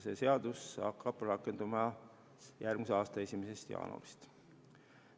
See seadus rakendub järgmise aasta 1. jaanuarist.